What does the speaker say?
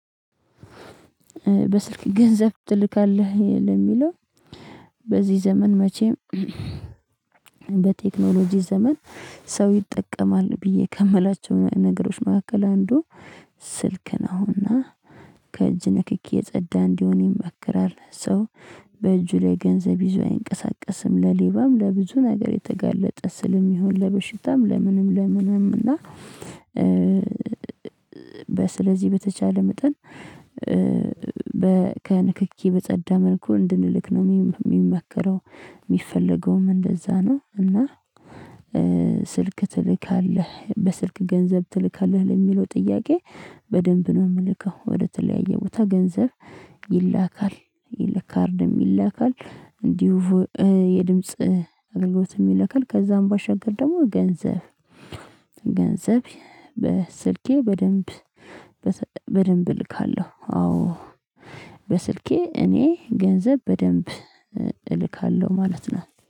በስልክ ገንዘብ ትልካለህ ለሚለው በዚህ ዘመን መቼም በቴክኖሎጂ ዘመን ሰው ይጠቀማል ብዬ ከምላቸው ነገሮች መካከል አንዱ ስልክ ነውና። ከእጅ ንክኪ የጸዳ እንዲሆን ይመክራል ሰው በእጁ ላይ ገንዘብ ይዞ አይንቀሳቀስም ለሌባም ለብዙ ነገር የተጋለጠ ስለሚሆን ለበሽታም ለምንም ለምንም እና። ስለዚህ በተቻለ መጠን ከንክኪ በጸዳ መልኩ እንድንልክ ነው ሚመከረው ሚፈለገውም እንደዛ ነው እና። ስልክ ትልካለህ በስልክ ገንዘብ ትልካለህ ለሚለው ጥያቄ? በደንብ ነው የምልከው ወደ ተለያየ ቦታ ገንዘብ ይላካል ለካርድም ይላካል እንዲሁ የድምጽ አገልግሎትም ይላካል ከዛም ባሻገር ደግሞ ገንዘብ ገንዘብ በስልኬ በደንብ በደንብ እልካለሁ። አዎ በስልኬ እኔ ገንዘብ በደንብ እልካለሁ ማለት ነው